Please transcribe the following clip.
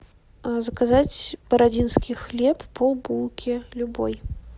заказать бородинский хлеб полбулки любой